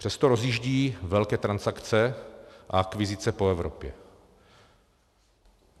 Přesto rozjíždějí velké transakce a akvizice po Evropě.